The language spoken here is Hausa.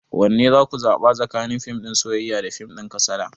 Wanne za ku zaɓa tsakanin fim din soyayya da fim din kasada?